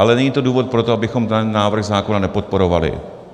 Ale není to důvod pro to, abychom ten návrh zákona nepodporovali.